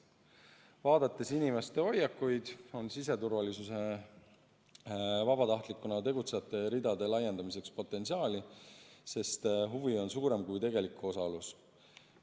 Vaadates inimeste hoiakuid, on siseturvalisuses vabatahtlikuna tegutsejate ridade laiendamiseks potentsiaali, sest huvi on suurem kui tegelik osalus.